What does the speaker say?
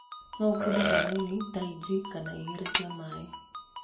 no ũkunde kanini ta inchi kana igĩrĩ cia maĩ.